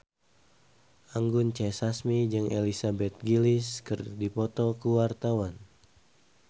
Anggun C. Sasmi jeung Elizabeth Gillies keur dipoto ku wartawan